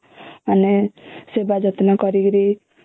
ମାନେ ସେଵାଯତ୍ନ କରୀକିରି